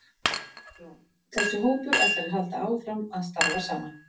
Hugrún: Þessi hópur, ætlar hann að halda áfram að starfa saman?